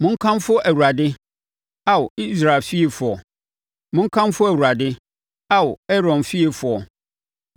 Monkamfo Awurade, Ao Israel fiefoɔ; monkamfo Awurade, Ao Aaron fiefoɔ;